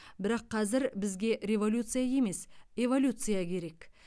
бірақ қазір бізге революция емес эволюция керек